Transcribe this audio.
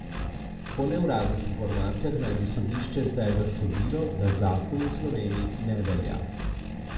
Po neuradnih informacijah naj bi sodišče zdaj razsodilo, da zakon v Sloveniji ne velja.